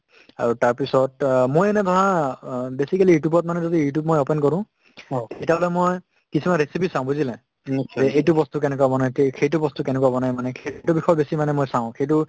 আৰু তাৰপিছত অ মই এনে ভা অ basically you tube ত মানে যদি you tube মই open কৰো তেতিয়াহ'লে মই কিছুমান recipe চাওঁ বুজিলা মোক এই~ এইটো বস্তু কেনেকুৱা বনাই তে সেইটো বস্তু কেনেকুৱা বনাই মানে সেইটো বিষয় বেছি মানে মই চাওঁ সেইটো